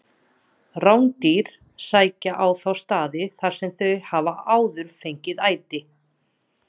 Rándýr sækja á þá staði þar sem þau hafa áður fengið æti.